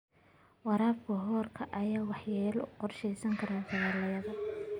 Waraabka roobka ayaa waxyeelo u geysan kara dalagyada.